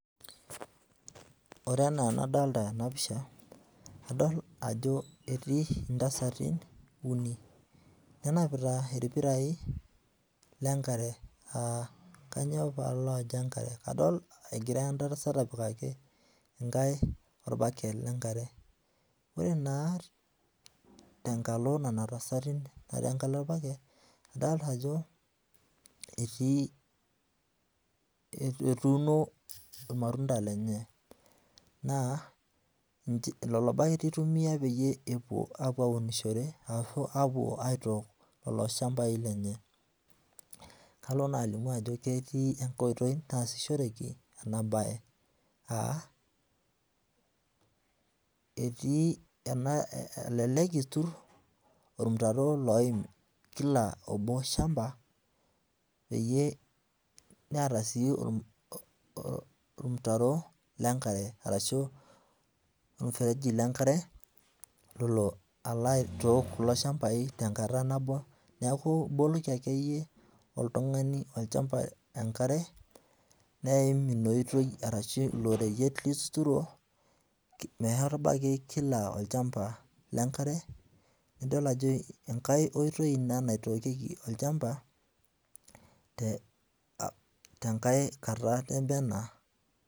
Ore enaa enadolita ena pisha, adol ajo etii intasati uni nenapita irpirai lenkare aa kanyoo paalajo enkare, adol egira entasat apikaki enkae orbaket le nkare. Ore naa tenkalo nena tasati natii enkalo orbaket adolita ajo etii, etuuno irmatunda lenye naa lelo baketi itumiai peyie epwo apwonishore ashu epwo aitok lelo shambai lenye. Kalo naa alimu ajo ketii enkae oitoi naasishoreki ena bae aa etii ena, elelek iturr ormutaro oim kila obo shamba peyie neeta sii ormutaro lenkare arashu ormufereji lenkare lolo alo aitook kulo shambai tenkata nabo. Neeku iboloki akeyie oltung'ani olchamba enkare neim ina oitoi arashu ilo reyiet, meyai irbaketi kila olchamba le nkare, nidol ajo enkae oitoi ina naitookieki olchamba tenkae kata nemee ena